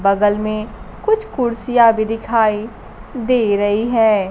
बगल में कुछ कुर्सियां भी दिखाई दे रही है।